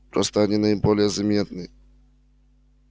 просто они наиболее заметны